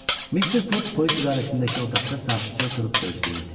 Mister Foq polis idarəsindəki otaqda sakitcə oturub gözləyirdi.